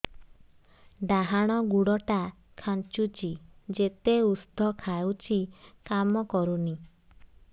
ଡାହାଣ ଗୁଡ଼ ଟା ଖାନ୍ଚୁଚି ଯେତେ ଉଷ୍ଧ ଖାଉଛି କାମ କରୁନି